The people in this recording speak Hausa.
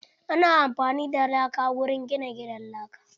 Ana amfani da laka wurin gina gidan laka.